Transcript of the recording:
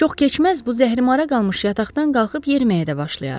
Çox keçməz, bu zəhərimara qalmış yataqdan qalxıb yeriməyə də başlayaram.